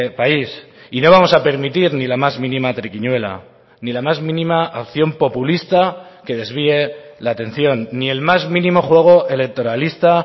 país y no vamos a permitir ni la más mínima triquiñuela ni la más mínima acción populista que desvíe la atención ni el más mínimo juego electoralista